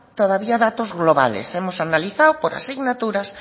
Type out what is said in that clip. todavía datos globales hemos analizado por asignaturas